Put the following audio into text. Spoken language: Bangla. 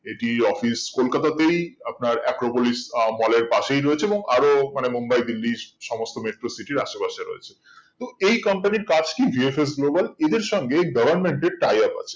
এটি কলকাতা তেই আপনার acropolis mall এর পাশেই রয়েছে এবং আরো ওখানে মুম্বাই দিল্লি সমস্ত metro city র আসে পাশে রয়েছে এবং এই company র কাজ কি VFS Global এদের সঙ্গে tie up আছে